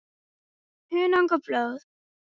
Hunang og blóð